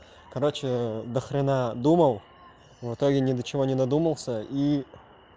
короче до хрена думал в итоге ни до чего не додумался и